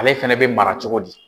Ale fɛnɛ be mara cogo di?